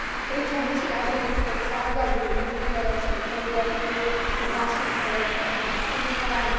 Prečo muži a ženy, ktorí sa angažujú v medzigeneračnej solidarite, sú v našej spoločnosti diskriminovaní?